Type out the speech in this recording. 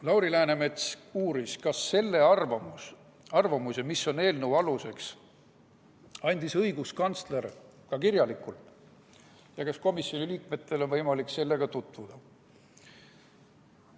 Lauri Läänemets uuris, kas selle arvamuse, mis on eelnõu aluseks, andis õiguskantsler ka kirjalikult ja kas komisjoni liikmetel on võimalik sellega tutvuda.